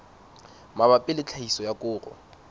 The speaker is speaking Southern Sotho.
mabapi le tlhahiso ya koro